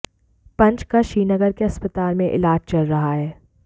पंच का श्रीनगर के अस्पताल में इलाज चल रहा है